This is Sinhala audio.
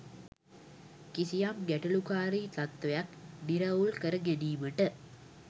කිසියම් ගැටලුකාරී තත්ත්වයක් නිරවුල් කර ගැනීමට